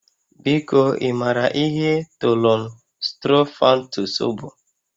Biko, ị maara ihe Thollon Sttrophanthus bụ?